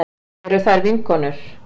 Eru þær vinkonur?